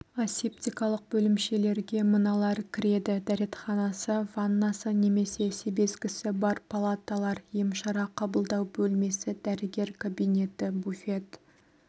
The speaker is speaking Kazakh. асептикалық бөлімшелерге мыналар кіреді дәретханасы ваннасы немесе себезгісі бар палаталар емшара қабылдау бөлмесі дәрігер кабинеті буфет